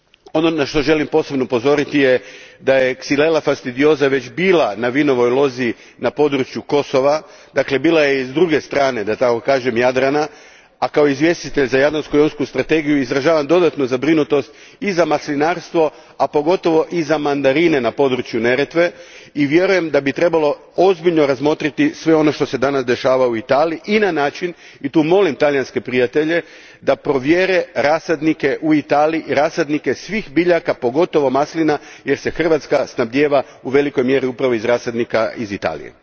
Ono na što želim posebno upozoriti je da je Xyllela fastidiosa već bila na vinovoj lozi na području Kosova, dakle bila je s i druge strane Jadrana, a kao izvjestitelj za Jadransko jonsku strategiju izražavam dodatnu zabrinutost i za maslinarstvo, a pogotovo i za mandarine na području Neretve i vjerujem da bi trebalo ozbiljno razmotriti sve ono što se danas dešava u Italiji i na način, i tu molim talijanske prijatelje, da provjere rasadnike u Italiji, rasadnike svih biljaka, pogotovo maslina jer se Hrvatska snabdijeva u velikoj mjeri upravo iz rasadnika iz Italije.